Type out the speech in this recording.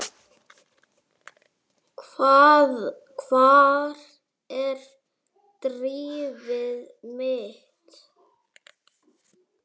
Hvar er drifið mitt?